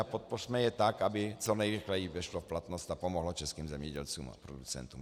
A podpořme je tak, aby co nejrychleji vešlo v platnost a pomohlo českým zemědělcům a producentům.